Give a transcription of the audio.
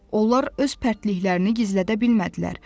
Onlar öz pərtliklərini gizlədə bilmədilər.